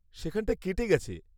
সেখানটায় কেটে গেছে।